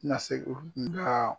Ti na se ko nga